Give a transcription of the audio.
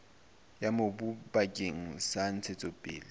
ya mobu bakeng sa ntshetsopele